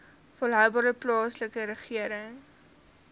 volhoubare plaaslike regering